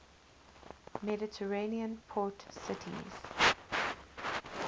mediterranean port cities